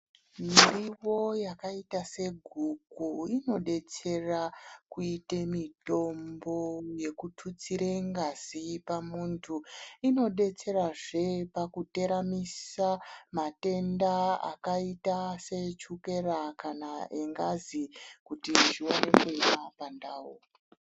Murivo yakaita seguku inobetsera kuita mitombo yekututsire ngazi pamhundu inobetsera zvee pakuteramitsa matenda akaita se echukera kana engazi kuti zviwana kuyema pandawu.